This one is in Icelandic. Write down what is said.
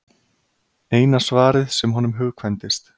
Eina svarið sem honum hugkvæmdist.